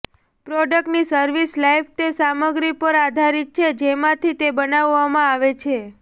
પ્રોડક્ટની service life તે સામગ્રી પર આધારિત છે જેમાંથી તે બનાવવામાં આવે છે